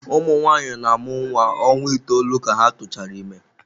Ụmụ nwanyị na-amụ nwa ọnwa itoolu ka ha tụchara ime.